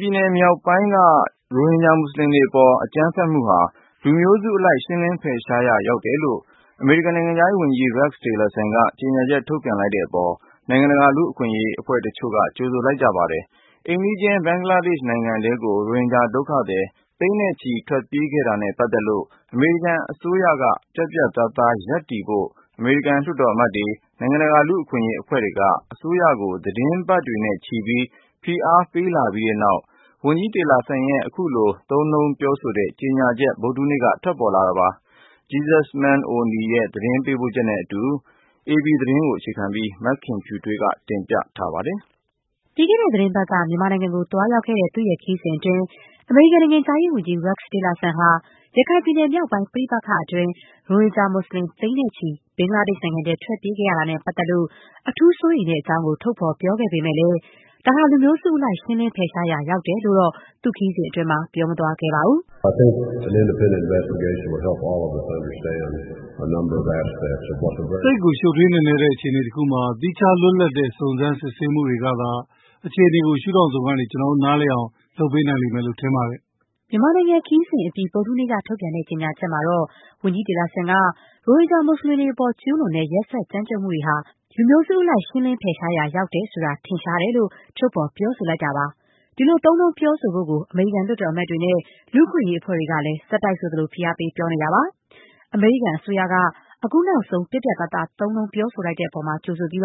ပြည်နယ်မြောက်ပိုင်းမှာ ရိုဟင်ဂျာမူစလင်အပေါ် အကြမ်းဖက်မှုတွေဟာ လူမျိုးစုအလိုက် ရှင်းလင်းဖယ်ရှားရာ ရောက်တယ်လို့ အမေရိကန် နိုင်ငံခြားရေးဝန်ကြီး Rex Tillerson က ပြောဆိုလိုက်သလို၊ ဒီအပေါ်မှာ နိုင်ငံတကာ လူ့အခွင့်အရေးအဖွဲ့ တချို့က ကြိုဆိုခဲ့ကြပါတယ်။ မြန်မာနိုင်ငံကနေ ရိုဟင်ဂျာမူစလင် သိန်းနဲ့ချီ အိမ်နီးချင်း ဘင်္ဂလားဒေ့ရှ်နိုင်ငံထဲ ထွက်ပြေးခဲ့ရတာနဲ့ပတ်သက်လို့ အမေရိကန်အစိုးရက ပြတ်ပြတ်သားသား ရပ်တည် ပြသဖို့ အမေရိကန် လွှတ်တော်အမတ်တွေ၊ နိုင်ငံတကာ လူ့အခွင့်အရေးအဖွဲ့တွေက အစိုးရကို သီတင်းပတ်တွေနဲ့ချီ ဖိအားပေးတာတွေ ရှိခဲ့ပြီးတဲ့နောက် ဝန်ကြီး Tillerson ရဲ့ အခုလို သုံးနှုန်းပြောဆိုတဲ့ ကြေညာချက် ဗုဒ္ဓဟူးနေ့က ထွက်လာခဲ့တာပါ။ Jesusemen Oni ရဲ့ သတင်းပေးပို့ချက်နဲ့အတူ အေပီသတင်းကို အခြေခံပြီး မခင်ဖြူထွေးက တင်ပြပေးပါမယ်။ ပြီးခဲ့တဲ့သီတင်းပတ်က မြန်မာနိုင်ငံကို သွားရောက်ခဲ့တဲ့ သူ့ရဲ့ခရီးစဉ်အတွင်း အမေရိကန်နိုင်ငံခြားရေး ဝန်ကြီး Rex Tillerson ဟာ ရခိုင်ပြည်နယ် မြောက်ပိုင်း ပဋိပက္ခတွေအတွင်း ရိုဟင်ဂျာမူစလင် သိန်းနဲ့ချီ ဘင်္ဂလားဒေ့ရှ် နိုင်ငံထဲ ထွက်ပြေးခဲ့တာနဲ့ပတ်သက်လို့ အထူး စိုးရိမ်တဲ့အကြောင်း ထုတ်ဖော်ပြောခဲ့ပေမဲ့၊ ဒါဟာ လူမျိုးစုအလိုက် ရှင်းလင်းဖယ်ရှားရာ ရောက်တယ်လို့တော့ သူ့ခရီးစဉ်အတွင်း ပြောမသွားခဲ့ပါဘူး။ “သိပ်ကို ရှုပ်ထွေး နက်နဲတဲ့ အခြေအနေတခုမှာ သီးခြား လွတ်လပ်တဲ့ စုံစမ်းစစ်ဆေးမှုတွေ ကသာ အခြေအနေကို ရှုထောင့်စုံကနေ ကျနော်တို့ နားလည်နိုင်အောင် လုပ်ပေးနိုင်လိမ့်မယ်လို့ ထင်ပါတယ်။” မြန်မာနိုင်ငံခရီးစဉ်အပြီး ဗုဒ္ဓဟူးနေ့က ထုတ်ပြန်တဲ့ ကြေညာချက်မှာတော့ - ဝန်ကြီး Tillerson က - ရိုဟင်ဂျာမူစလင်တွေအပေါ် ကျူးလွန်တဲ့ ရက်စက်ကြမ်းကြုတ်မှုတွေဟာ လူမျိုးစုအလိုက် ရှင်းလင်းဖယ်ရှားရောက် ရောက်တယ်ဆိုတာ ထင်ရှားတယ်လို့ ထုတ်ဖော်ပြောဆို လိုက်တာပါ။ ဒီလို သုံးနှုန်းပြောဆိုဖို့ကို အမေရိကန်လွှတ်တော်အမတ်တွေနဲ့ လူ့အခွင့်အရေး အဖွဲ့တွေကလည်း ဆက်တိုက်ဆိုသလို ဖိအားပေး ပြောဆိုနေတာပါ။ အမေရိကန်အစိုးရက အခုနောက်ဆုံး ပြတ်ပြတ်သားသား သုံးနှုန်းပြောဆိုတဲ့အပေါ် ကြိုဆိုပြီး၊